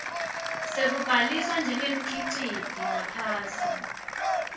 sekubhaliswa njengemkhiciti ngaphansi